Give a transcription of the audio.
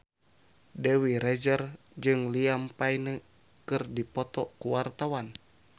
Dewi Rezer jeung Liam Payne keur dipoto ku wartawan